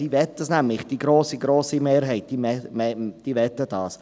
Sie möchten das nämlich, die grosse, grosse Mehrheit von ihnen möchte das.